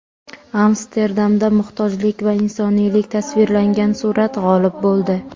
Amsterdamda muhtojlik va insoniylik tasvirlangan surat g‘olib bo‘ldi .